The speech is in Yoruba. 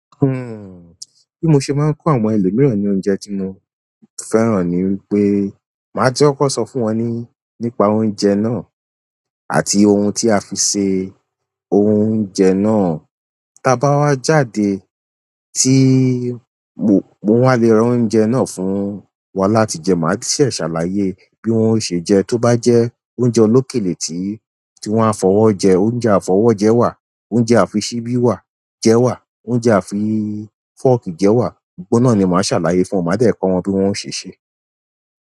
Bi mo ṣe maa n fún àwọn ẹlòmíràn ni oúnjẹ ti mo fẹ́ràn ni wípé maa ti kọkọ so fún won nípa oúnjẹ náà, àti ohun ti a fi ṣe oúnjẹ náà tí a bá wá jáde mo wá lè ra oúnjẹ náà fún wa láti jẹ, màá se ṣàlàyé bí wọ́n ṣe jẹ. Tó bá jẹ oúnjẹ olókèlè tí wọ́n á fọwọ́ jẹ, oúnjẹ àfọwọ́jẹ wà, oúnjẹ àfi ṣíbí jẹ wà, oúnjẹ àfi fọ́ọ̀kì jẹ wà. Gbogbo náà ni màá ṣàlàyé fún wọn, màá dẹ̀ kọ́ wọn bí wọ́n ṣe ṣe.